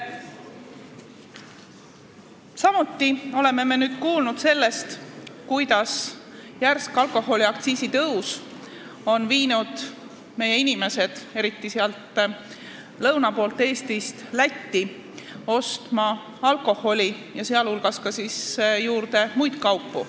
Nüüd oleme kõik kuulnud, et järsk alkoholiaktsiisi tõus on viinud meie inimesed, eriti sealt lõuna poolt Eestist, Lätti ostma nii alkoholi kui ka muid kaupu.